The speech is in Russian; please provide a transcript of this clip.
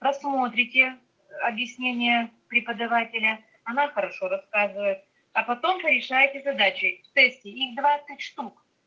просмотрите объяснение преподавателя она хорошо рассказывает а потом порешаете задачи в тесте их двадцать штук